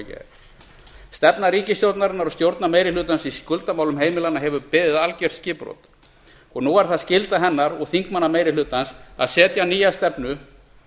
gær stefna ríkisstjórnarinnar og stjórnarmeirihlutans í skuldamálum heimilanna hefur beðið algert skipbrot nú er það skylda hennar og þingmannameirihlutans að setja nýja stefnu